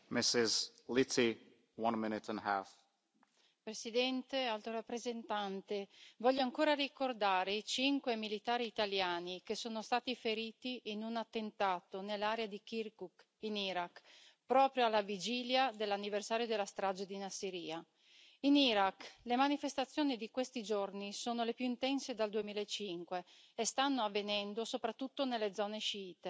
Signor Presidente, onorevoli colleghi, signora Alto rappresentante, voglio ancora ricordare i cinque militari italiani che sono stati feriti in un attentato nell'area di Kirkuk, in Iraq, proprio alla vigilia dell'anniversario della strage di Nassiriya. In Iraq le manifestazioni di questi giorni sono le più intense dal 2005 e stanno avvenendo soprattutto nelle zone sciite